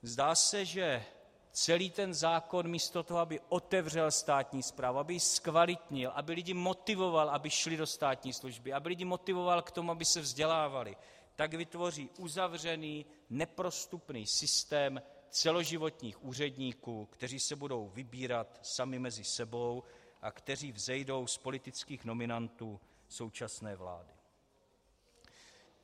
Zdá se, že celý ten zákon místo toho, aby otevřel státní správu, aby ji zkvalitnil, aby lidi motivoval, aby šli do státní služby, aby lidi motivoval k tomu, aby se vzdělávali, tak vytvoří uzavřený, neprostupný systém celoživotních úředníků, kteří se budou vybírat sami mezi sebou a kteří vzejdou z politických nominantů současné vlády.